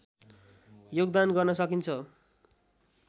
योगदान गर्न सकिन्छ